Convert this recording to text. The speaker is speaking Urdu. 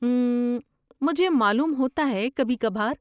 اممم، مجھے معلوم ہوتا ہے، کبھی کبھار۔